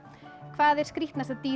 hvað er skrýtnasta dýr